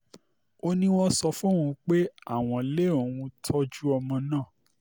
ó ní um wọ́n sọ fóun pé àwọn lé òun tọ́jú um ọmọ náà